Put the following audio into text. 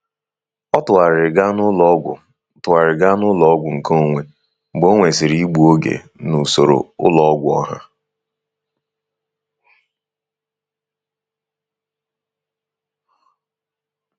Ọ tụgharịrị gaa n'ụlọọgwụ tụgharịrị gaa n'ụlọọgwụ nkeonwe mgbe ọ nwesịrị igbu oge na usoro ụlọ ọgwụ ọha.